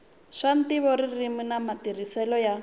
swa ntivoririmi na matirhiselo ya